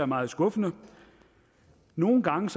meget skuffende nogle gange